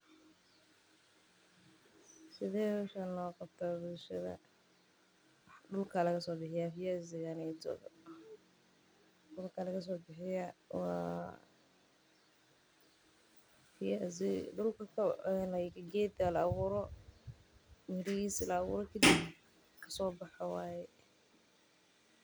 Sidee howshan loogu qabtaa bulshada dulka ayaa laga soo bixiyaa geed la abuuro mirahiisa.